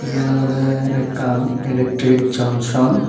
eyen olode ekan electric junction.